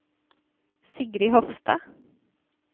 Sigrid Hofstad